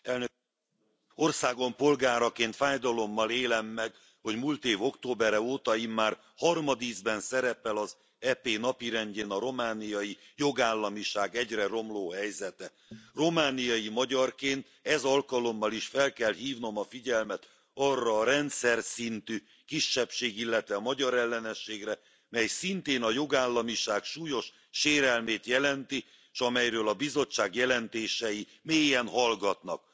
Tisztelt Elnök Asszony! Országom polgáraként fájdalommal élem meg, hogy múlt év októbere óta immár harmadízben szerepel az EP napirendjén a romániai jogállamiság egyre romló helyzete. Romániai magyarként ez alkalommal is fel kell hívnom a figyelmet arra a rendszerszintű kisebbség illetve magyarelleneségre, mely szintén a jogállamiság súlyos sérelmét jelenti, s amelyről a Bizottság jelentései mélyen hallgatnak.